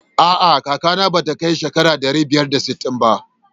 A'a kakana ba ta kai shekara ɗari biyar da sittin ba.